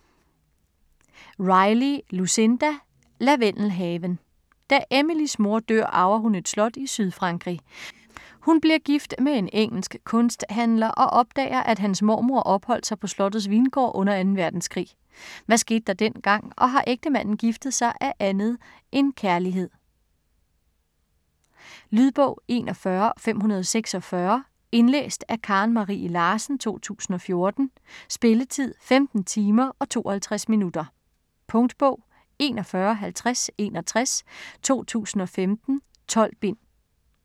Riley, Lucinda: Lavendelhaven Da Emilies mor dør arver hun et slot i Sydfrankrig. Hun bliver gift med en engelsk kunsthandler og opdager, at hans mormor opholdt sig på slottets vingård under 2. verdenskrig. Hvad skete der dengang? Og har ægtemanden giftet sig af andet end kærlighed? Lydbog 41546 Indlæst af Karen Marie Larsen, 2014. Spilletid: 15 timer, 52 minutter. Punktbog 415061 2015. 12 bind.